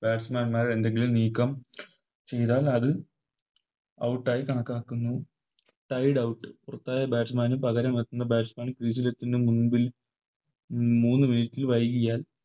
Batsman മാർ എന്തെങ്കിലും നീക്കം ചെയ്താൽ അത് Out ആയി കണക്കാക്കുന്നു Sideout പുറത്തായ Batsaman ന് പകരം എത്തുന്ന Batsman field ലെത്തുന്നതിന് മുൻപിൽ മൂന്ന് Minute ൽ വൈകിയാൽ